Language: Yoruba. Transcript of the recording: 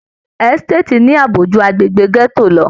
Ẹsitati ní ààbò jù agbegbe gẹto lọ.